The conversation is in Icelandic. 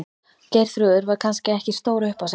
Geirþrúður var kannski ekki stór upp á sig.